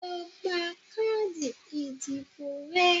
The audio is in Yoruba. lọ gba káàdì ìdìbò ẹ!